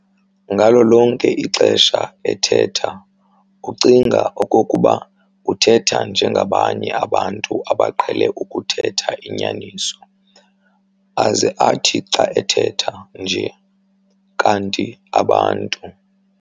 Ngalo lonke ixesha ethetha ucinga okokuba uthetha njengabanye abantu abaqhele ukuthetha inyaniso, aze athi xa ethetha nje, kanti abantu